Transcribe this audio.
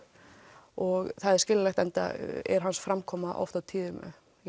og það er skiljanlegt enda er hans framkoma oft á tíðum